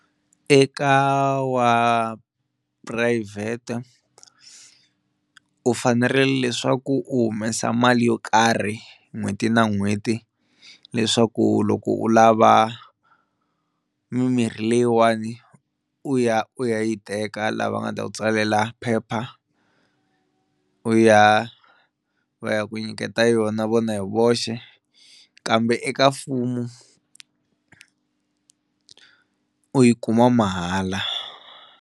Eka wa purayivhete u fanerile leswaku u humesa mali yo karhi n'hweti na n'hweti leswaku loko u lava mimirhi leyiwani u ya u ya yi teka laha va nga ta ku tsalela phepha u ya va ya ku nyiketa yona vona hi voxe kambe eka mfumo u yi kuma mahala.